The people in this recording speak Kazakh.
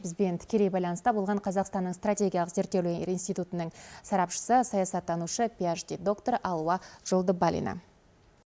бізбен тікелей байланыста болған қазақстанның стратегиялық зертеулер институтының сарапшысы саясаттанушы пиашди доктор алуа жолдыбалина